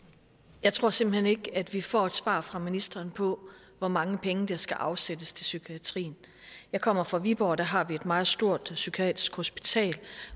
jeg tror simpelt hen ikke at vi får et svar fra ministeren på hvor mange penge der skal afsættes til psykiatrien jeg kommer fra viborg der har vi et meget stort psykiatrisk hospital